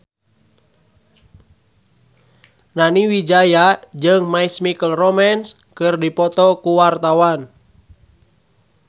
Nani Wijaya jeung My Chemical Romance keur dipoto ku wartawan